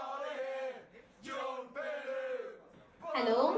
hello அஹ்